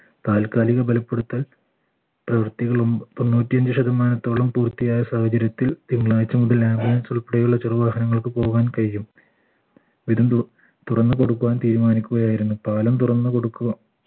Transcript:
താൽക്കാലിക ബലപ്പെടുത്തൽ പ്രവർത്തികളും തൊണ്ണൂറ്റി അഞ്ച ശതമാനത്തോളം പൂർത്തിയായ സാഹചര്യത്തിൽ തിങ്കളാഴ്ച മുതൽ ambulance ഉൾപ്പെടെയുള്ള ചെറു വാഹനങ്ങൾക്ക് പോകാൻ കഴിയും തുറന്നു കൊടുക്കുവാൻ തീരുമാനിക്കുകയായിരുന്നു പാലം തുറന്നു കൊടുക്കുക